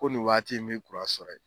Ko nin waati in b'i kuran sɔrɔ ye.